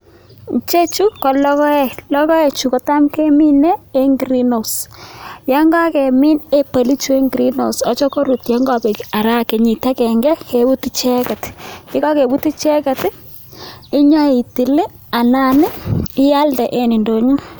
Chechu ko lokoek, lokoechu kotam ke mine eng greenhose, yon kakemin ebolichu eng greenhouse acha korutyo en ngokabek ara kenyit agenge kebut icheket, ye kakebut icheket inyo itil anan ialde eng ndonyo.